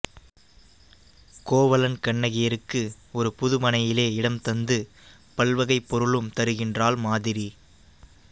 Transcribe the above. கோவலன் கண்ணகியருக்கு ஒரு புது மனையிலே இடந்தந்து பல்வகைப் பொருளும் தருகின்றாள் மாதரி